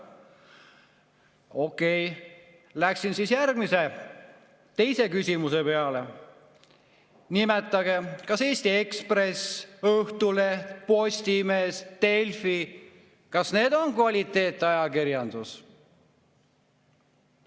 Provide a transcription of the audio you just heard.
Okei, läksin siis järgmise, teise küsimuse juurde: kas Eesti Ekspress, Õhtuleht, Postimees ja Delfi on kvaliteetajakirjandus?